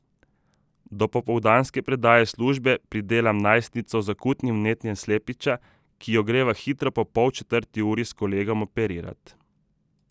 Do popoldanske predaje službe pridelam najstnico z akutnim vnetjem slepiča, ki jo greva hitro po polčetrti uri s kolegom operirat.